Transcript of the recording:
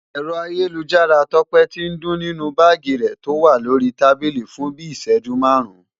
ẹ̀rọ ayélujára tọ́pẹ́ ti ń dún nínú báàgì rẹ̀ tó wà lórí tábílì fun bíi ị̀ṣẹjú márùn-ún